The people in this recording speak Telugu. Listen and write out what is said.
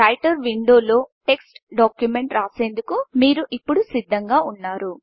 రైటర్ విండోలో టెక్ట్స్ డాక్యుమెంట్ రాసేందుకు మీరు ఇప్పుడు సిద్ధంగా ఉన్నారు